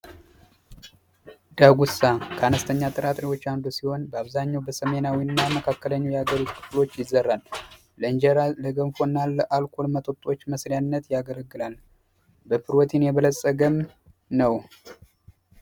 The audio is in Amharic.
ዳጉሳ ከአነስተኛ ጥራጥሬዎች አንዱ ሲሆን በአብዛኛው በሰሜናዊ እና መካክለኛው የሀገሪቱ ክፍሎች ይዘራል። ለእንጀራ ፣ለገንፎ እና ለአልኮል መጠጦች መስሪያነት ያገለግላል። በፕሮቲን የበለፀገም ነው።